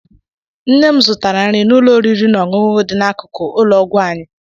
Nne m zụtara nri n'ụlọ oriri na ọṅụṅụ dị n'akụkụ ụlọ ọgwụ anyị.